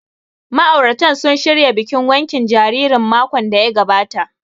Ma'auratan sun shirya bikin wankin jaririn makon da ya gabata